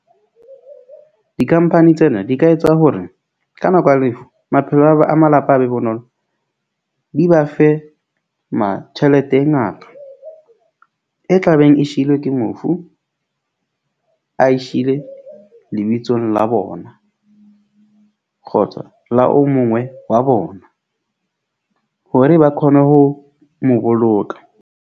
Di-company tsena di ka etsa hore ka nako ya lefu maphelo a ba a malapa a be bonolo, di ba fe ma tjhelete e ngata. E tlabeng e shiilwe ke mofu. A sheile lebitsong la bona, kgotsa la o mongwe wa bona. Hore ba khone ho mo boloka.